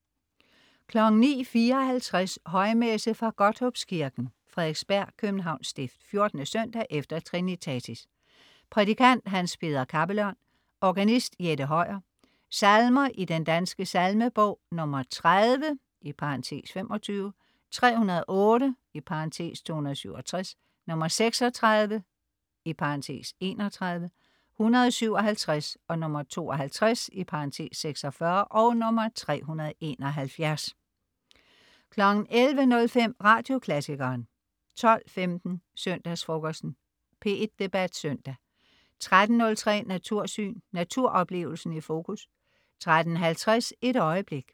09.54 Højmesse. Fra Godthåbskirken, Frederiksberg (Københavns Stift). 14. søndag efter trinitatis. Prædikant: Hans Peder Kappelørn. Organist: Jette Høyer. Salmer i Den Danske Salmebog: 30 (25), 308 (267), 36 (31), 157, 52 (46), 371 11.05 Radioklassikeren 12.15 Søndagsfrokosten. P1 Debat Søndag 13.03 Natursyn. Naturoplevelsen i fokus 13.50 Et øjeblik.